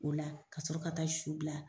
O la ka sɔrɔ ka taa su bila